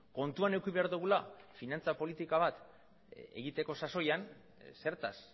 kontuan eduki behar dugula finantza politika bat egiteko sasoian zertaz